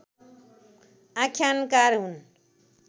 आख्यानकार हुन्